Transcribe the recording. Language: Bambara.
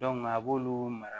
a b'olu mara